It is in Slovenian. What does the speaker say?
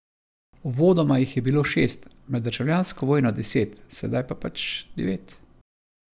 Uvodoma jih je bilo šest, med državljansko vojno deset, sedaj pa pač devet.